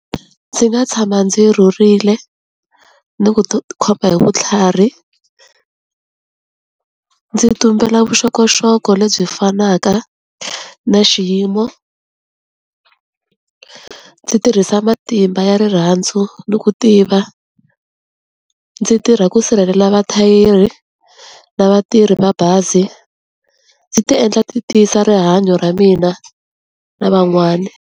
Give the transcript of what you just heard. Ndzi nga tshama ndzi rhurile ni ku ti khoma hi vutlhari, ndzi tumbela vuxokoxoko lebyi fanaka na xiyimo, ndzi tirhisa matimba ya rirhandzu ni ku tiva, ndzi tirha ku sirhelela vathayeri na vatirhi mabazi, ndzi ti endla ti tiyisa rihanyo ra mina na van'wani.